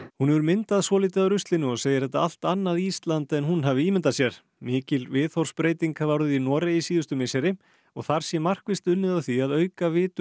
hún hefur myndað svolítið af ruslinu og segir þetta allt annað Ísland en hún hafi ímyndað sér mikil viðhorfsbreyting hafi orðið í Noregi síðustu misseri og þar sé markvisst unnið að því að auka vitund